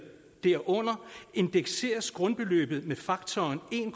derunder indekseres grundbeløbet med faktoren en